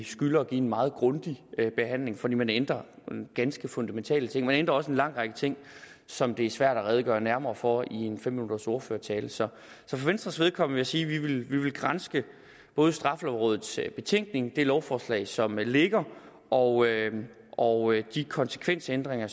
skylder at give en meget grundig behandling for man ændrer ganske fundamentale ting man ændrer også en lang række ting som det er svært at redegøre nærmere for i en fem minutters ordførertale så for venstres vedkommende sige at vi vil vil granske både straffelovrådets betænkning det lovforslag som ligger og og de konsekvensændringer